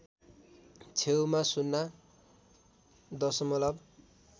छेउमा ० दशमलव